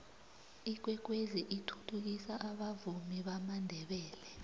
ikwekwezi ithuthukisa abavumi bamandebele